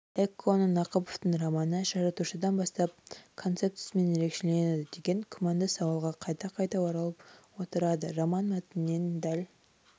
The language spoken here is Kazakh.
эконың нақыповтың романы жаратушыдан бастап концептісімен ерекшеленеді деген күмәнді сауалға қайта-қайта оралып отырады роман мәтінінен дәл